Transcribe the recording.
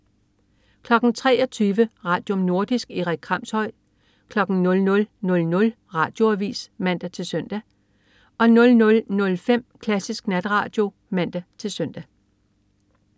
23.00 Radium. Nordisk. Erik Kramshøj 00.00 Radioavis (man-søn) 00.05 Klassisk Natradio (man-søn)